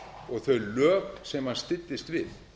og þau lög sem hann styddist við